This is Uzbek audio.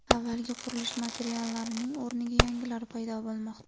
Avvalgi qurilish materiallarining o‘rniga yangilari paydo bo‘lmoqda.